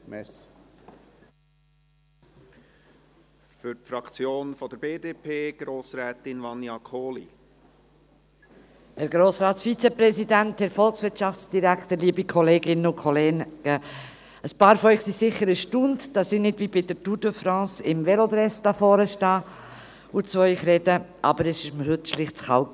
Einige von Ihnen sind sicher erstaunt, dass ich nicht wie bei der Tour de France im Velodress hier vorne stehe und zu Ihnen spreche, aber es war mir heute schlicht zu kalt.